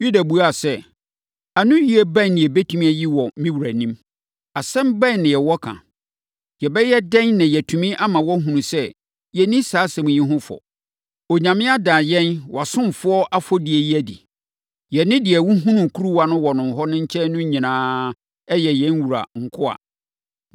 Yuda buaa sɛ, “Anoyie bɛn na yɛbɛtumi ayi wɔ me wura anim? Asɛm bɛn na yɛwɔ ka? Yɛbɛyɛ dɛn na yɛatumi ama woahunu sɛ yɛnni saa asɛm yi ho fɔ? Onyame ada yɛn wʼasomfoɔ afɔdie yi adi. Yɛne deɛ wɔhunuu kuruwa no wɔ no nkyɛn no nyinaa yɛ yɛn wura nkoa”.